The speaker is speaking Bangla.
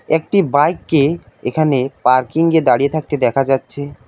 একটি বাইক কে এখানে পার্কিংয়ে দাঁড়িয়ে থাকতে দেখা যাচ্ছে।